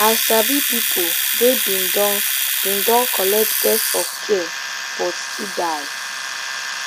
i sabi pipo wey bin don bin don collect best of care but still die